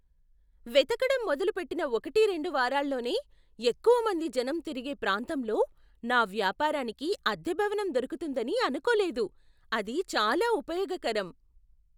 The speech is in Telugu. వెతకడం మొదలుపెట్టిన ఒకటి రెండు వారాల్లోనే ఎక్కువమంది జనం తిరిగే ప్రాంతంలో నా వ్యాపారానికి అద్దె భవనం దొరకుతుందని అనుకోలేదు. అది చాలా ఉపయోగకరం.